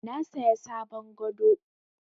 Na saya sabon gado.